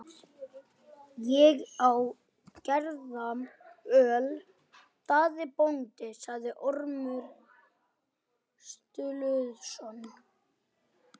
Ég á gerjað öl, Daði bóndi, sagði Ormur Sturluson.